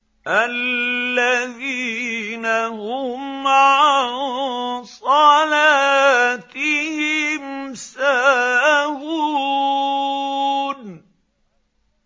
الَّذِينَ هُمْ عَن صَلَاتِهِمْ سَاهُونَ